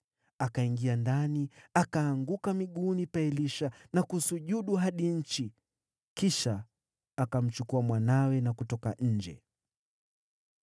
Akaingia ndani, akaanguka miguuni pa Elisha na kusujudu hadi nchi. Kisha akamchukua mwanawe na kutoka nje.